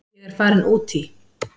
Ég er farin út í.